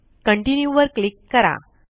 continue वर click करा